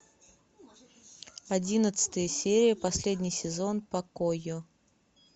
одиннадцатая серия последний сезон покойо